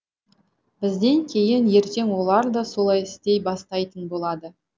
бізден кейін ертең олар да солай істей бастайтын болады